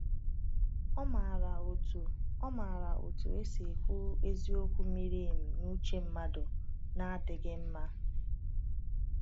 Ọ maara otu Ọ maara otu esi ekwu eziokwu miri emi n’uche mmadụ na-adịghị mma.